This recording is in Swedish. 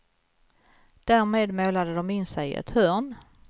Därmed målade de in sig i ett hörn.